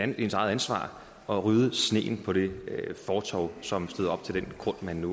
det ens eget ansvar at rydde sneen på det fortov som støder op til den grund man nu